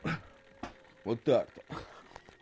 вот так-то